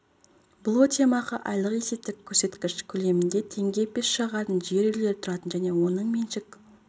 бұл өтемақы айлық есептік көрсеткіш көлемінде теңге пеш жағатын жер үйлерде тұратын және оның меншік